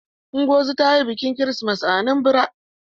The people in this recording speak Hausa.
Ngozi ta yi bikin kirisimeti a Anambra.